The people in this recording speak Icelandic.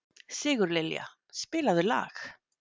Sigurlilja, spilaðu lag.